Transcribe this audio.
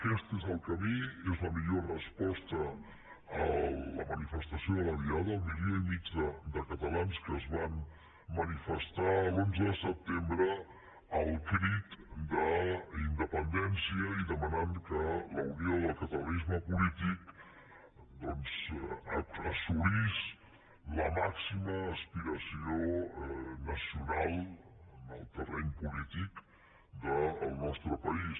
aquest és el camí és la millor resposta a la manifestació de la diada al milió i mig de catalans que es van manifestar l’onze de setembre al crit d’ independència i que demanaven que la unió del catalanisme polític assolís la màxima aspiració nacional en el terreny polític del nostre país